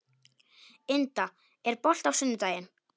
Inda, er bolti á sunnudaginn?